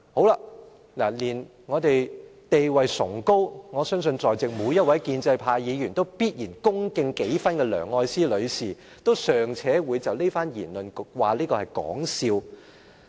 連地位崇高，我相信在席每位建制派都必然恭敬幾分的梁愛詩女士，都尚且會就這番言論是說笑。